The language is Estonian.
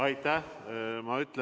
Aitäh!